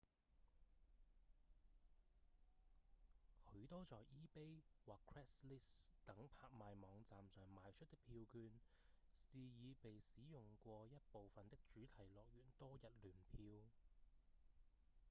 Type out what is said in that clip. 許多在 ebay 或 craigslist 等拍賣網站上賣出的票券是已被使用過一部分的主題樂園多日聯票